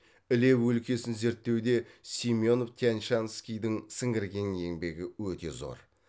іле өлкесін зерттеуде семенов тян шанскийдің сіңірген еңбегі өте зор